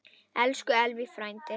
Elsku Eyvi frændi.